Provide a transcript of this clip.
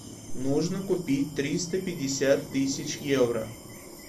нужно купить триста пятьдесят тысяч евро